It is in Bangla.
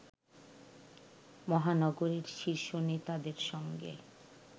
মহানগরের শীর্ষ নেতাদের সঙ্গে